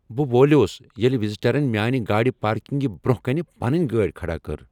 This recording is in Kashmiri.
بہ وولیوس ییٚلہ وزیٹرن میانہ گاڑ پارکنگہِ برٛونٛہہ کنہ پنٕنۍ گاڑۍ کھڑا کٔر۔